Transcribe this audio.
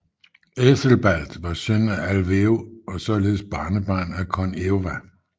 Æthelbald var søn af Alweo og således barnebarn af kon Eowa